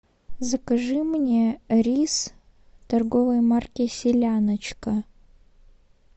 закажи мне рис торговой марки селяночка